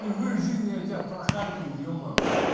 впервые в жизни я тебя прохайпил е-мае